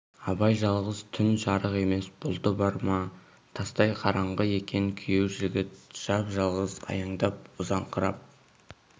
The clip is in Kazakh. абай жалғыз түн жарық емес бұлты бар ма тастай қараңғы екен күйеу жігіт жапа-жалғыз аяңдап ұзаңқырап